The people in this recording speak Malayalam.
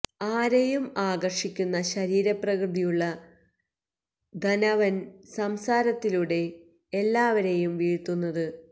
ആരെയും ആകര്ഷിക്കുന്ന ശരീര പ്രകൃതിയുള്ള ധാനവന് സംസാരത്തിലൂടെയാണ് എല്ലാവരെയും വീഴ്ത്തുന്നത്